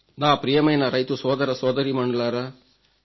నా ప్రియమైన రైతు సోదరసోదరీమణులారా